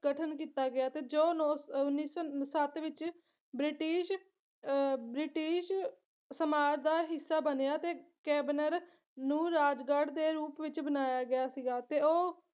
ਗਠਨ ਕੀਤਾ ਗਿਆ ਤੇ ਜੋ ਨੌ ਉੱਨੀ ਸੌ ਸੱਤ ਵਿੱਚ ਬ੍ਰਿਟਿਸ਼ ਅਹ ਬ੍ਰਿਟਿਸ਼ ਸਮਾਜ ਦਾ ਹਿੱਸਾ ਬਣਿਆ ਤੇ ਕੈਬਨਰ ਨੂੰ ਰਾਜਗੜ੍ਹ ਦੇ ਰੂਪ ਵਿੱਚ ਬਣਾਇਆ ਗਿਆ ਸੀਗਾ ਤੇ ਉਹ